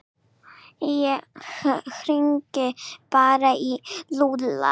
Ég hringi bara í Lúlla.